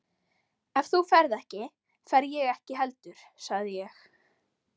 Ef þú ferð ekki, fer ég ekki heldur sagði ég.